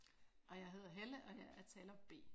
Og jeg hedder Helle og jeg er taler B